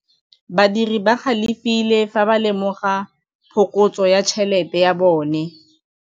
Badiri ba galefile fa ba lemoga phokotsô ya tšhelête ya bone.